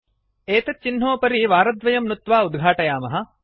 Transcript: एतत् चिह्नोपरि वारद्वयं नुत्वा उद्घाटयामः